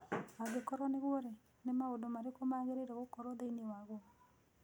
Angĩkorũo nĩguo-rĩ, nĩ maũndũ marĩkũ magĩrĩirũo gũkorũo thĩinĩ waguo?